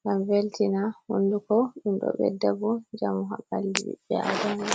ngam veltina hunduko, ɗum ɗo ɓe da bo njamu ha ɓalli ɓi adama.